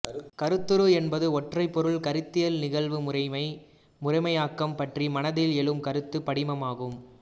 கருத்துரு என்பது ஒன்றைப் பொருள் கருத்தியல் நிகழ்வு முறைமை முறையாக்கம் பற்றி மனத்தில் எழும் கருத்து படிமம் ஆகும்